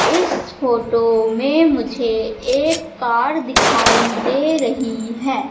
इस फोटो में मुझे एक कार दिखाई दे रही है।